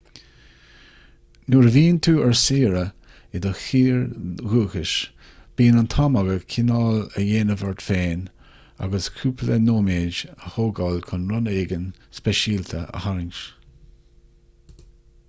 nuair a bhíonn tú ar saoire i do thír dhúchais bíonn an t-am agat cineál a dhéanamh ort féin agus cúpla nóiméad a thógáil chun rud éigin speisialta a tharraingt